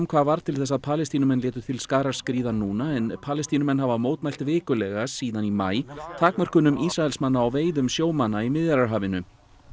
hvað varð til þess að Palestínumenn létu til skarar skríða núna en Palestínumenn hafa mótmælt vikulega síðan í maí takmörkunum Ísraelsmanna á veiðum sjómanna í Miðjarðarhafinu